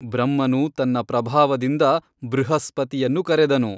ಬ್ರಹ್ಮನು ತನ್ನ ಪ್ರಭಾವದಿಂದ ಬೃಹಸ್ಪತಿಯನ್ನು ಕರೆದನು.